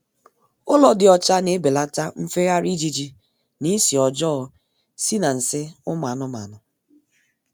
Ụlọ dị ocha na-ebelata nfegharị ijiji na isi ọjọọ si na nsị ụmụ anụmanụ